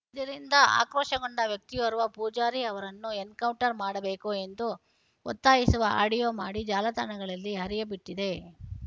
ಇದರಿಂದ ಆಕ್ರೋಶಗೊಂಡ ವ್ಯಕ್ತಿಯೋರ್ವ ಪೂಜಾರಿ ಅವರನ್ನು ಎನ್‌ಕೌಂಟರ್‌ ಮಾಡಬೇಕು ಎಂದು ಒತ್ತಾಯಿಸುವ ಆಡಿಯೊ ಮಾಡಿ ಜಾಲತಾಣಗಳಲ್ಲಿ ಹರಿಯಬಿಟ್ಟಿದ್ದ